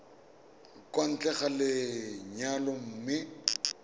kwa ntle ga lenyalo mme